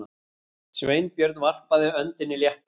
Sveinbjörn varpaði öndinni léttar.